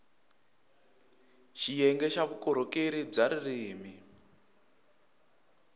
xiyenge xa vukorhokeri bya ririrmi